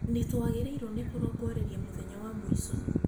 Nĩtwagĩrĩirwo nĩ kũrongoreria mũthenya wa mũico